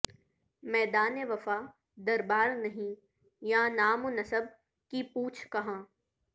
میدان وفا دربار نہیں یاں نام ونسب کی پوچھ کہاں